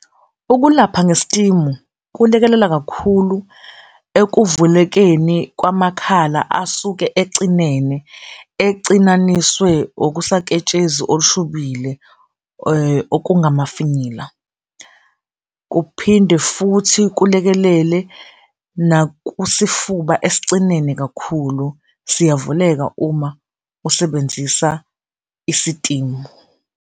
Ukulapha ngesitimu kulekelela kakhulu ekuvulekeni kwamakhala asuke ecinene, ecinaniswe okusaketshezi olushubile, okungamafinyila. Kuphinde futhi kulekelele nakusifuba esicinene kakhulu, siyavuleka uma usebenzisa isitimu.